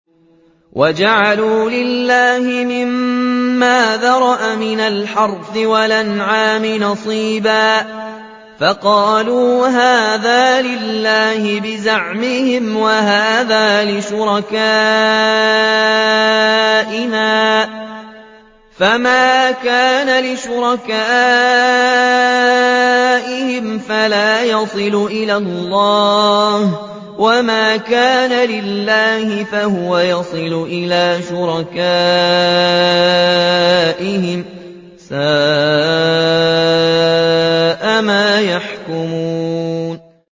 وَجَعَلُوا لِلَّهِ مِمَّا ذَرَأَ مِنَ الْحَرْثِ وَالْأَنْعَامِ نَصِيبًا فَقَالُوا هَٰذَا لِلَّهِ بِزَعْمِهِمْ وَهَٰذَا لِشُرَكَائِنَا ۖ فَمَا كَانَ لِشُرَكَائِهِمْ فَلَا يَصِلُ إِلَى اللَّهِ ۖ وَمَا كَانَ لِلَّهِ فَهُوَ يَصِلُ إِلَىٰ شُرَكَائِهِمْ ۗ سَاءَ مَا يَحْكُمُونَ